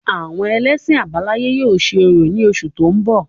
Àwọn ẹlẹ́sìn àbáláyé yóò ṣe orò ní oṣù tó ń bọ̀